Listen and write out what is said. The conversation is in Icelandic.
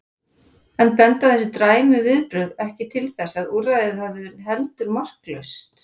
En benda þessi dræmu viðbrögð ekki til þess að úrræðið hafi verið heldur marklaust?